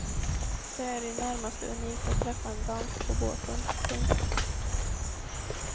Det är i det närmaste unikt att träffa en dansk på båten. punkt